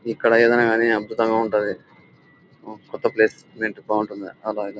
ఇక్కడ ఏమైనా గానీ అద్భుతంగా ఉంటాది. కొత్త ప్లేస్ మెంట్ బాగుంటుంది అలాగే.